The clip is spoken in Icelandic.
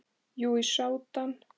Já, í Súdan.